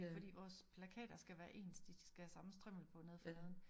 Fordi vores plakater skal være ens de skal have samme strimmel på nede for neden